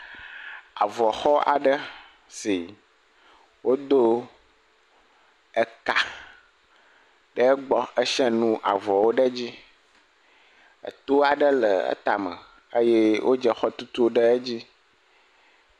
Avɔxɔ aɖe si wodo eka ɖe egbɔ he sia nu avɔwo ɖe edzi. Eto aɖe le etame eye wodze exɔtutuwo ɖe edz.